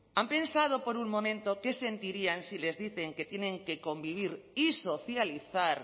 han pensado por un momento qué sentirían si les dicen que tienen que convivir y socializar